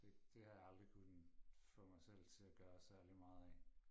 Det det har jeg aldrig kunne få mig selv til at gøre særlig meget af